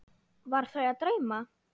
Var þau að dreyma?